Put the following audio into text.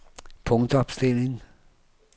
punktopstilling